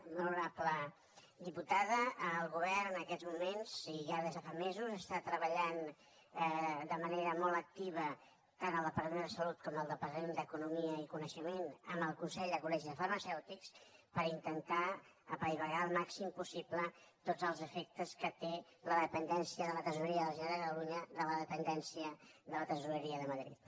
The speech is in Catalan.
molt honorable diputada el govern en aquests moments i ja des de fa mesos està treballant de manera molt activa tant al departament de salut com al departament d’economia i coneixement amb el consell de col·legis farmacèutics per intentar apaivagar al màxim possible tots els efectes que té la dependència de la tresoreria de la generalitat de catalunya de la dependència de la tresoreria de madrid